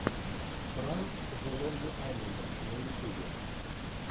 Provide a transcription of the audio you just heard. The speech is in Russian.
пранк зе лонли айленда на ютубе